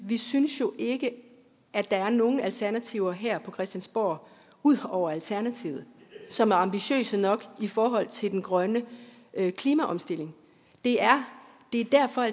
vi synes jo ikke at der er nogen alternativer her på christiansborg ud over alternativet som er ambitiøse nok i forhold til den grønne klimaomstilling det er derfor at